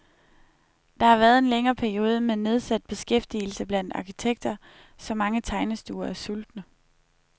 Der har været en længere periode med nedsat beskæftigelse blandt arkitekter, så mange tegnestuer er sultne.